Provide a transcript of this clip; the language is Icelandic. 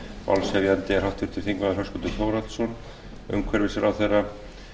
málshefjandi er háttvirtur þingmaður höskuldur þórhallsson hæstvirtur umhverfisráðherra